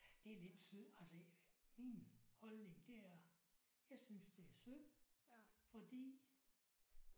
Det er lidt syd altså min holdning det er jeg synes det er synd fordi